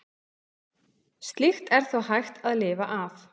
Slíkt er þó hægt að lifa af.